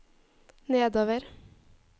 nedover